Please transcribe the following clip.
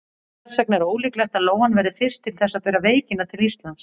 Þess vegna er ólíklegt að lóan verði fyrst til þess að bera veikina til Íslands.